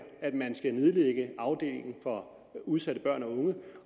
at man skal nedlægge afdelingen for udsatte børn og unge